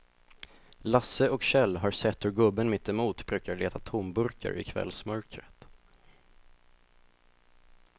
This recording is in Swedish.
Lasse och Kjell har sett hur gubben mittemot brukar leta tomburkar i kvällsmörkret.